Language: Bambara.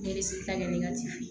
Ne bɛ se ka kɛ ne ka ci ye